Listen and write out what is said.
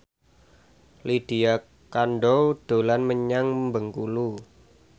Lydia Kandou dolan menyang Bengkulu